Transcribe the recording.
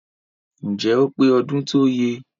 Ǹjẹ́ ó pé ọdún tọ́yẹ?